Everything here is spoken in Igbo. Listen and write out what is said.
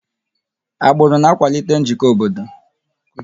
Agbụrụ na-akwalite njikọ obodo.